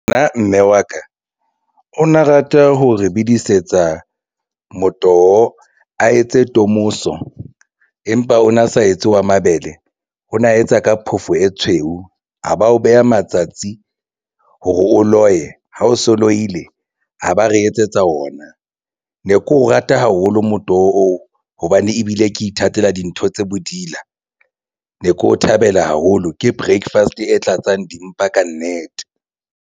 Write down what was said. Nna mme wa ka o na rata ho re bedisetsa motoho a etse tomoso empa o na sa etse ya mabele na etsa ka phofo e tshweu. A ba o beha matsatsi hore o loye ha o so loile a ba re etsetsa ona ne keo rata haholo motoho oo hobane ebile ke ithatela dintho tse bodila ne ke o thabela haholo. Ke breakfast-e tlatsang di mpa kannete.